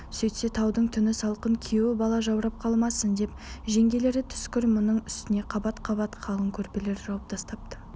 сөйтсе таудың түні салқын күйеу бала жаурап қалмасын деп жеңгелері түскір мұның үстіне қабат-қабат қалың көрпелер жауып тастапты